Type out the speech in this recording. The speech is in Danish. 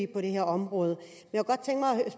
på det her område